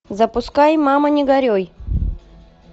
запускай мама не горюй